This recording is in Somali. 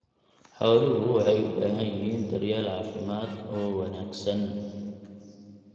Xooluhu waxay u baahan yihiin daryeel caafimaad oo wanaagsan.